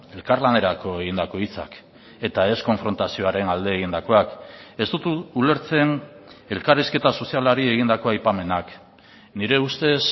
elkarlanerako egindako hitzak eta ez konfrontazioaren alde egindakoak ez dut ulertzen elkarrizketa sozialari egindako aipamenak nire ustez